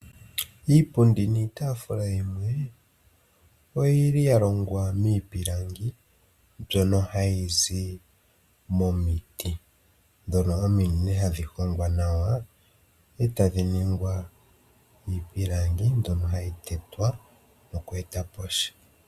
Iipundi niitaafula yilwe oyili ya longwa miipilangi mbyono hayi zi momiti, ndhono ominene hadhi hongwa nawa, etadhi ningwa iipilangi mbyono hayi tetwa noku etapo sha.